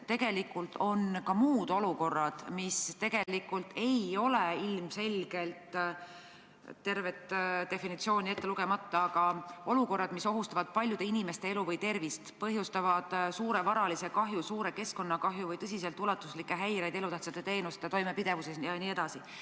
Tegelikult on ka muud olukorrad, mis tegelikult ei ole ilmselgelt eriolukorrad – tervet definitsiooni ma ei hakka ette lugema, aga olukorrad, mis ohustavad paljude inimeste elu või tervist, põhjustavad suure varalise kahju, suure keskkonnakahju või tõeliselt ulatuslikke häireid elutähtsate teenuste toimepidevuses jne.